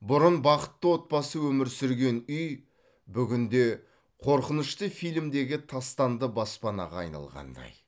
бұрын бақытты отбасы өмір сүрген үй бүгінде қорқынышты фильмдегі тастанды баспанаға айналғандай